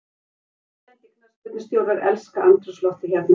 Erlendir knattspyrnustjórar elska andrúmsloftið hérna.